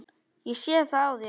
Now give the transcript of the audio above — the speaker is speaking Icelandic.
Ég sé það á þér.